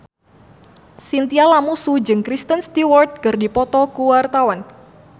Chintya Lamusu jeung Kristen Stewart keur dipoto ku wartawan